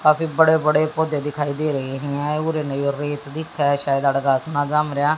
काफी बड़े बड़े पौधे दिखाई दे रहे हैं ।